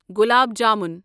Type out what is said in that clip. گلاب jamun